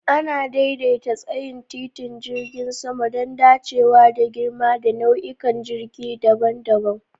Ana daidaita tsayin titin jirgin sama don dacewa da girma da nau'ikan jirgin daban-daban.